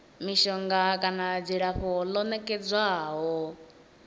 mishonga kana dzilafho ḽo nekedzwaho